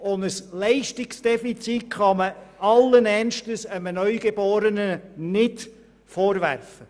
Einem Neugeborenen kann man nicht allen Ernstes ein Leistungsdefizit vorwerfen.